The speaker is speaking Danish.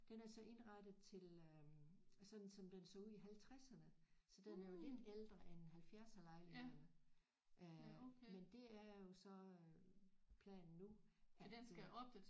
Den er så indrettet til øh sådan som den så ud i halvtredserne så den er jo lidt ældre end halvfjerdserlejligheden øh men det er jo så øh planen nu at øh